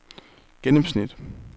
gennemsnit